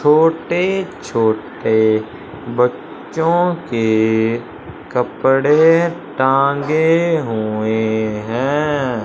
छोटे छोटे बच्चों के कपड़े टांगे हुए हैं।